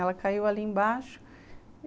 Ela caiu ali embaixo.